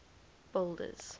boulders